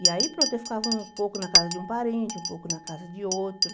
E aí, pronto, eu ficava um pouco na casa de um parente, um pouco na casa de outro.